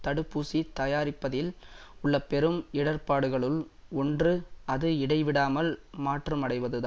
தடுப்பூசி தயாரிப்பதில் உள்ள பெரும் இடர்பாடுகளுள் ஒன்று அது இடைவிடாமல் மாற்றமடைவதுதான்